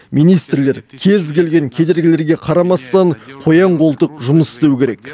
министрлер кез келген кедергілерге қарамастан қоян қолтық жұмыс істеу керек